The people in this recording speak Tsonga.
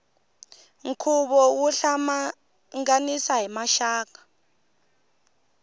nkhuvo wo hlanganisa maxaka